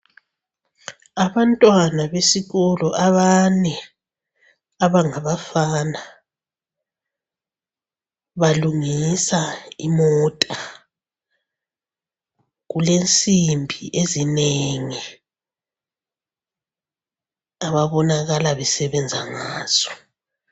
Abantwana besikolo abane abangabafana balungisa imota, kulensimbi ezinengi ababonakala besebenza ngazo.